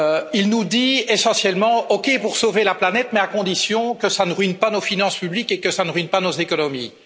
Il nous dit essentiellement OK pour sauver la planète, mais à condition que ça ne ruine pas nos finances publiques et que ça ne ruine pas nos économies.